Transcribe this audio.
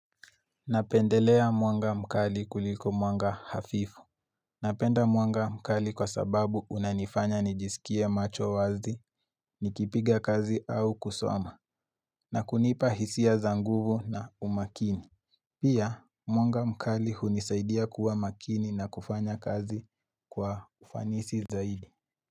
Napendelea mwanga mkali kuliko mwanga hafifu Napenda mwanga mkali kwa sababu unanifanya nijisikia macho wazi, nikipiga kazi au kusoma na kunipa hisia zanguvu na umakini Pia mwanga mkali hunisaidia kuwa makini na kufanya kazi kwa ufanisi zaidi.